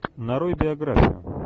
нарой биографию